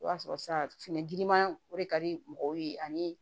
I b'a sɔrɔ sa fini girinman o de ka di mɔgɔw ye ani